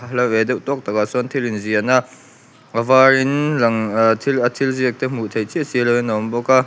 hla ve deuh tawk takah chuan thil in ziah na a var in lang ahh a thil ziak te hmuh theih chiah chiah lo in a awm bawk a--